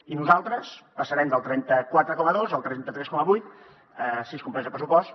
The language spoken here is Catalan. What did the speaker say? i nosaltres passarem del trenta quatre coma dos al trenta tres coma vuit si es compleix el pressupost